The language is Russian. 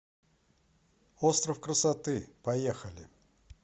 остров красоты поехали